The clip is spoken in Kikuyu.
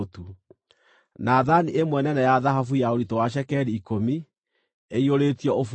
na thaani ĩmwe nene ya thahabu ya ũritũ wa cekeri ikũmi, ĩiyũrĩtio ũbumba;